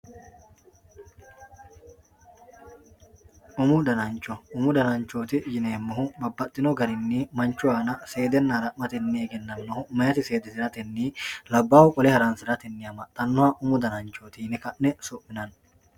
umu danancho umu dananchooti yineemohu babbaxino garinni manchu aana seedenna hara'me egennamohu meyaati seedisiratenni labbahu qole haransiratenni amaxanoho umu dananchooti yine ka'ne su'mionanni.